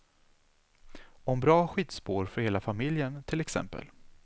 Om bra skidspår för hela familjen till exempel.